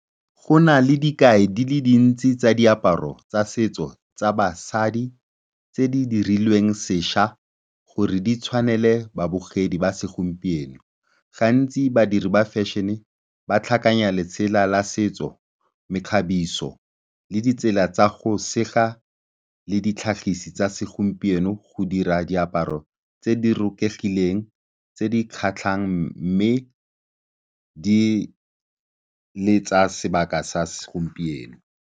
Go na le dikai di le dintsi tsa diaparo tsa setso tsa basadi tse di dirilweng sešwa gore di tshwanele babogedi ba segompieno. Gantsi badiri ba fashion-e ba tlhakanya letsela la setso, mekgabiso le ditsela tsa go sega le ditlhagisi tsa segompieno go dira diaparo tse di rokegileng, tse di kgatlhang mme di le tsa sebaka sa segompieno.